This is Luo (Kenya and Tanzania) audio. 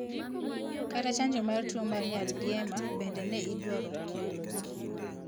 Kata chanjo mar tuo mar nyaldiema bende ne idwaro kuomwa.